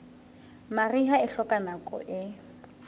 mariha e hloka nako e